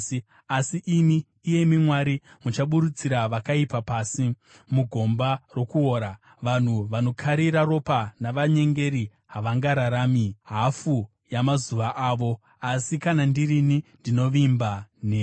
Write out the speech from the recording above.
Asi imi, iyemi Mwari, muchaburutsira vakaipa pasi mugomba rokuora; vanhu vanokarira ropa navanyengeri havangararami hafu yamazuva avo. Asi kana ndirini, ndinovimba nemi.